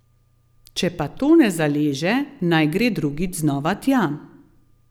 Če pa to ne zaleže, naj gre drugič znova tja.